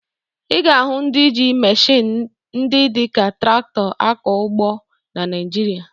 Ị ga-ahụ ndị ji meshịn ndị dị ka traktọ akọ ugbo na Naịjirịa